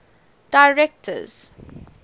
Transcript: directors